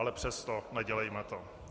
Ale přesto, nedělejme to.